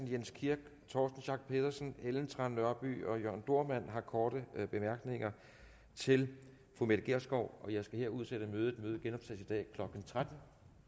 jens kirk torsten schack pedersen ellen trane nørby og jørn dohrmann har korte bemærkninger til mette gjerskov jeg skal her udsætte mødet mødet genoptages i dag klokken tretten